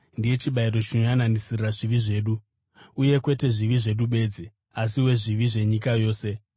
Ndiye chibayiro chinoyananisira zvivi zvedu, uye kwete zvivi zvedu bedzi, asi wezvivi zvenyika yose.